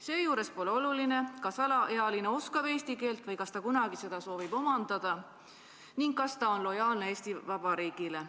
Seejuures pole oluline, kas alaealine oskab eesti keelt või kas ta kunagi soovib seda omandada ning kas ta on lojaalne Eesti Vabariigile.